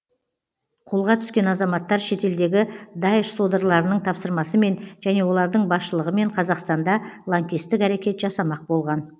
қолға түскен азаматтар шетелдегі даиш содырларының тапсырмасымен және олардың басшылығымен қазақстанда лаңкестік әрекет жасамақ болған